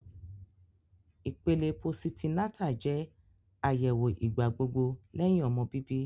Ipele positi-nata jẹ ayẹwo igbagbogbo lẹhin ọmọ bibi